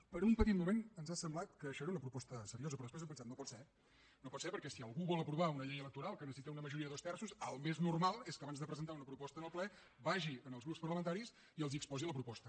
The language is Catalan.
per un petit moment ens ha semblat que això era una proposta seriosa però després hem pensat no pot ser no pot ser perquè si algú vol aprovar una llei electoral que necessita una majoria de dos terços el més normal és que abans de presentar una proposta al ple vagi als grups parlamentaris i els exposi la proposta